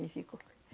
E ficou.